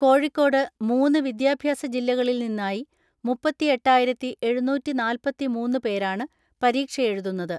കോഴിക്കോട്ട് മൂന്ന് വിദ്യാഭ്യാസ ജില്ല കളിൽ നിന്നായി മുപ്പത്തിഎട്ടായിരത്തിഎഴുന്നൂറ്റിനാല്‍പത്തിമൂന്ന് പേരാണ് പരീക്ഷയെഴുതുന്നത്.